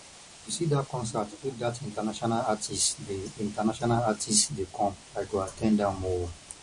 you see that concert wey that international artists dey international artists dey come i go at ten d am o